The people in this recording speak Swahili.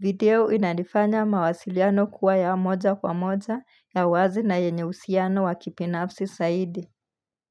Video inanifanya mawasiliano kuwa ya moja kwa moja ya wazi na yenye usiano wa kipinafsi saidi.